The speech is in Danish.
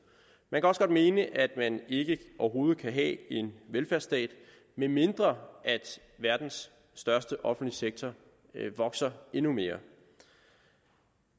man kan også godt mene at man ikke overhovedet kan have en velfærdsstat medmindre verdens største offentlige sektor vokser endnu mere